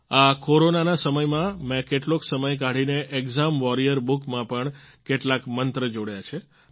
આ કોરોનાના સમયમાં મેં કેટલોક સમય કાઢીને એક્ઝામ વોરિયર બુક માં પણ કેટલાક મંત્ર જોડ્યા છે